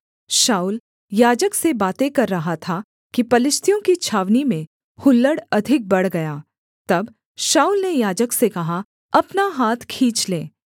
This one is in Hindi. शाऊल याजक से बातें कर रहा था कि पलिश्तियों की छावनी में हुल्लड़ अधिक बढ़ गया तब शाऊल ने याजक से कहा अपना हाथ खींच ले